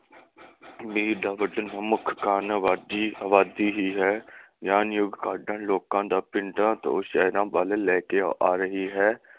ਭੀੜ ਦਾ ਵਧਣ ਦਾ ਮੁੱਖ ਕਾਰਨ ਅਬਾਦੀ ਅਬਾਦੀ ਹੀ ਹੈ। ਕਾਢਾਂ ਲੋਕਾਂ ਦਾ ਪਿੰਡਾਂ ਤੋਂ ਸ਼ਹਿਰਾਂ ਵੱਲ ਲੈ ਕੇ ਆ ਰਹੀ ਹੈ।